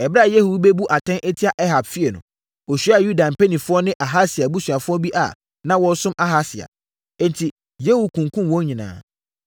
Ɛberɛ a Yehu rebu atɛn atia Ahab fie no, ɔhyiaa Yuda mpanimfoɔ ne Ahasia abusuafoɔ bi a na wɔresom Ahasia. Enti, Yehu kunkumm wɔn nyinaa.